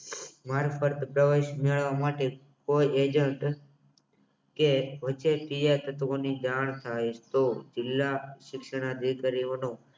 mark પ્રવેશ મેળવવા માટે કોઈ એજન્ટ કે જાણ થાય તો જિલ્લા શિક્ષણ અધિકારીઓનો